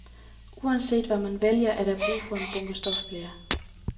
Uanset hvad man vælger, er der brug for en bunke stofbleer.